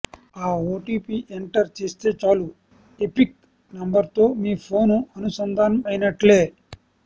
ఆ OTP enter చేస్తే చాలు ఎపిక్ నంబర్తో మీ ఫోను అనుసంధానం అయినట్లే